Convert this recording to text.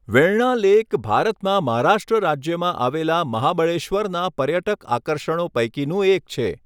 Venna lake ભારતમાં મહારાષ્ટ્ર રાજ્યમાં આવેલા મહાબળેશ્વરના પર્યટક આકર્ષણો પૈકીનું એક છે.